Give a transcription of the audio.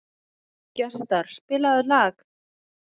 Gestar, spilaðu lag.